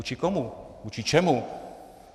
Vůči komu, vůči čemu?